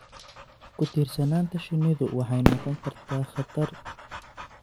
Ku-tiirsanaanta shinnidu waxay noqon kartaa khatar.